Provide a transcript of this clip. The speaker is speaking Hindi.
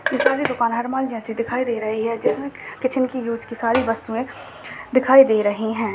ये सारी दुकान हर माल जैसी दिखाई दे रही हैं जिसमें किचन कि यूज की सारी वस्तुएं दिखाई दे रही हैं।